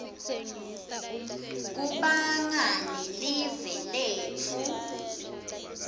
kubanga lelive letfu